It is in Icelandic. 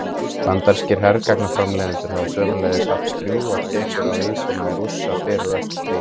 Bandarískir hergagnaframleiðendur hafa sömuleiðis haft drjúgar tekjur af vígbúnaði Rússa fyrir og eftir stríð.